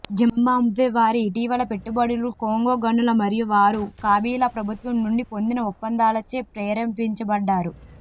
Zimbabwe వారి ఇటీవల పెట్టుబడులు కోంగో గనుల మరియు వారు కాబిలా ప్రభుత్వం నుండి పొందిన ఒప్పందాలచే ప్రేరేపించబడ్డారు